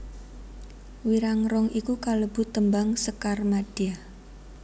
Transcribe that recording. Wirangrong iku kalebu tembang sekar madya